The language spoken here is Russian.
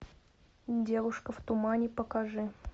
девушка в тумане покажи